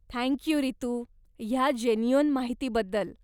Thank you Ritu, ह्या genuine माहितीबद्दल.